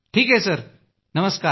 ठीक आहे सर नमस्कार